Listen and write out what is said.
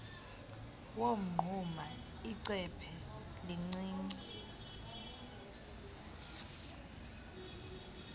womnquma icephe elincinci